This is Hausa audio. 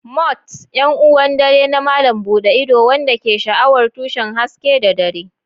Moths: 'Yan uwan dare na malam buɗe ido waɗanda ke sha'awar tushen haske da dare.